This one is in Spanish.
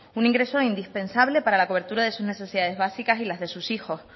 un ingreso indispensable para la cobertura de las necesidades básicas y las de sus hijos